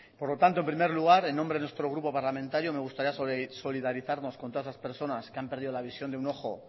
por lo tanto en primer lugar en nombre de nuestro grupo parlamentario me gustaría solidarizarnos con todas esas personas que han perdido la visión de un ojo